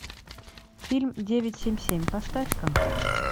фильм девять семь семь поставь ка